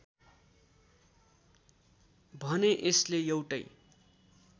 भने यसले एउटै